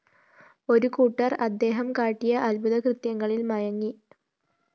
ഒരുകൂട്ടര്‍ അദ്ദേഹം കാട്ടിയ അത്ഭുതകൃത്യങ്ങളില്‍ മയങ്ങി